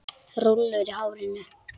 Rúllur í hárinu.